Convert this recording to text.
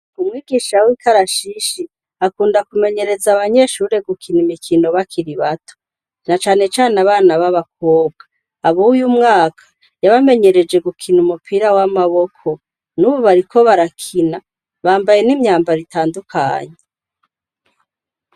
Umwigisha w'ikarashishi, akunda kumenyereza abanyeshuri gukina imikino bakiri bato. Na canecane abana b'abakobwa. Ab'uyu mwaka, yabamenyereje gukina umupira w'amaboko, n'ubu bariko barakina, bambaye n'imyambara itandukanye.